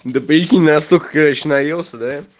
да прикинь настолько короче наелся да